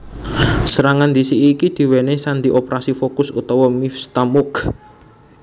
Serangan ndhisiki iki diwènèhi sandi Operasi Focus utawa Mivtza Moked